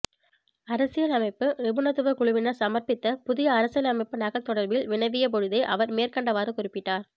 அரசியலமைப்பு நிபுணத்துவ குழுவினர் சமர்பபித்த புதிய அரசியலமைப்பு நகல் தொடர்பில் வினவிய பொழுதே அவர் மேற்கண்டவாறு குறிப்பிட்டார்